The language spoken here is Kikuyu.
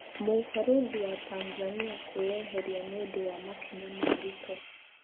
Mũbarũthi wa Tanzania kwĩeheria nĩ- ũndũwa makinya ma Ruto.